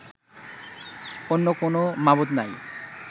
অন্য কোনও মাবুদ নাই